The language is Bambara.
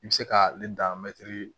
I bɛ se ka ale dan